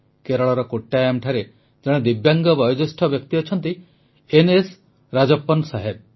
କେରଳର କୋଟ୍ଟାୟାମ୍ଠାରେ ଜଣେ ଦିବ୍ୟାଙ୍ଗ ବୟୋଜ୍ୟେଷ୍ଠ ବ୍ୟକ୍ତି ଅଛନ୍ତି ଏନଏସ ରାଜପ୍ପନ ସାହେବ